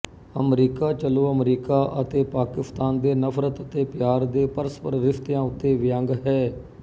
America ਚਲੋ America ਅਤੇ ਪਾਕਿਸਤਾਨ ਦੇ ਨਫ਼ਰਤ ਅਤੇ ਪਿਆਰ ਦੇ ਪਰਸਪਰ ਰਿਸ਼ਤਿਆਂ ਉੱਤੇ ਵਿਅੰਗ ਹੈ